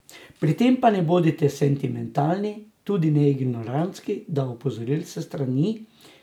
Pri tem pa ne bodite sentimentalni, tudi ne ignorantski do opozoril s strani.